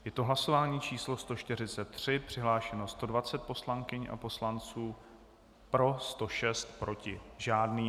Je to hlasování číslo 143, přihlášeno 120 poslankyně a poslanců, pro 106, proti žádný.